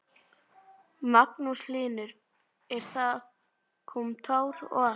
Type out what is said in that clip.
Magnús Hlynur: En það kom tár og allt?